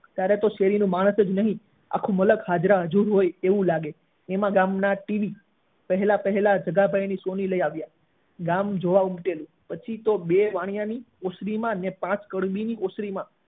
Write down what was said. ત્યારે તો ખાલી શેરી નું માણસ નહી આખું મલખ હાજરા હજૂર હોય એવું લાગે એમ આખા ગામ ના ટીવી પહેલા પહેલા જગ્ગાભાઈ સોની લઇ આવ્યા ગામ જોવા ઉમટ્યું પછી તો બે વાણીયા ની ઓસની માં અને પાંચ કવિ ની ઓસ્નીમાં